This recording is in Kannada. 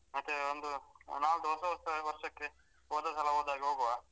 ಮತ್ತೆ ಒಂದು ನಾಳ್ದು ಹೊಸ ವರ್ಷ~ ವರ್ಷಕ್ಕೆ ಹೋದಸಲ ಹೋದಾಗೆ ಹೋಗುವ?